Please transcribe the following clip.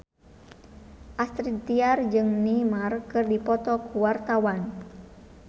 Astrid Tiar jeung Neymar keur dipoto ku wartawan